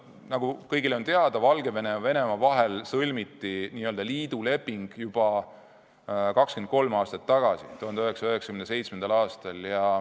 Nagu kõigile on teada, Valgevene ja Venemaa vahel sõlmiti n-ö liiduleping juba 23 aastat tagasi, 1997. aastal.